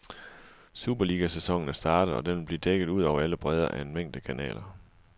Superligasæsonen er startet, og den vil blive dækket ud over alle bredder af en mængde kanaler.